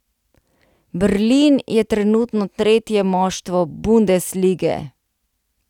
Berlin je trenutno tretje moštvo bundeslige.